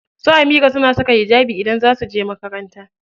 Su Amira suna saka hijabi idan za su je makaranta.